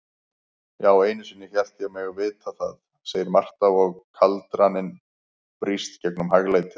Já, einusinni hélt ég mig vita það, segir Marta og kaldraninn brýst gegnum hæglætið.